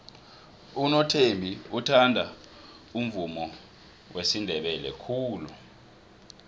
unothembi uthanda umvumo wesindebele khulu